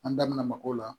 An da mako la